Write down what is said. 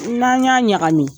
N'an y'a ɲagami.